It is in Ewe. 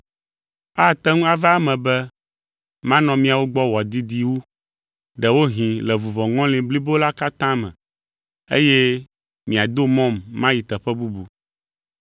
Ate ŋu ava eme be manɔ miawo gbɔ wòadidi wu, ɖewohĩ le vuvɔŋɔli blibo la katã me, eye miado mɔm mayi teƒe bubu.